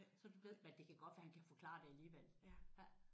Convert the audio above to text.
Så det ved men det kan godt være han kan forklare det alligevel